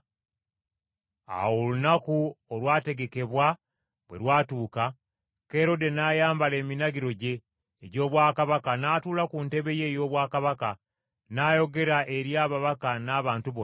Awo olunaku olwategekebwa bwe lwatuuka, Kerode n’ayambala eminagiro gye egy’obwakabaka n’atuula ku ntebe ye ey’obwakabaka, n’ayogera eri ababaka n’abantu bonna.